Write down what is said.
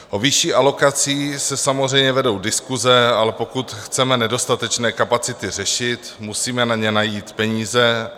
O vyšší alokaci se samozřejmě vedou diskuse, ale pokud chceme nedostatečné kapacity řešit, musíme na ně najít peníze.